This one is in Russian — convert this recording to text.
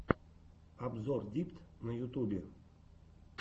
обзор дипт на ютубе